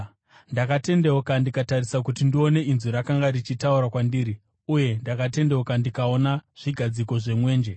Ndakatendeuka ndikatarisa kuti ndione inzwi rakanga richitaura kwandiri. Uye ndakatendeuka ndikaona zvigadziko zvemwenje,